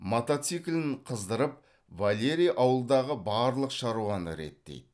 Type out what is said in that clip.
мотоциклін қыздырып валерий ауылдағы барлық шаруаны реттейді